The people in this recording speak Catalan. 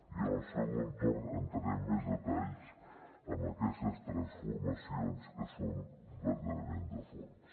i en el segon torn entraré en més detalls en aquestes transformacions que són verdaderament de fons